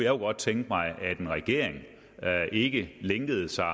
jo godt tænke mig at en regering ikke lænkede sig